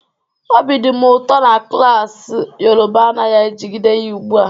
Obi dị m ụtọ na klas Yoruba anaghị ejide ya ugbu a